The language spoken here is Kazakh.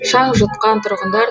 шаң жұтқан тұрғындар